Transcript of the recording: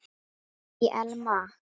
Æ, Elma.